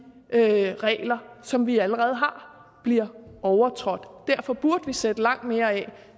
regler som vi allerede har bliver overtrådt derfor burde vi sætte langt mere af